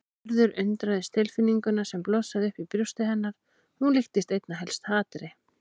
Urður undraðist tilfinninguna sem blossaði upp í brjósti hennar, hún líktist einna helst hatri.